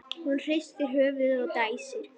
Hún hristir höfuðið og dæsir.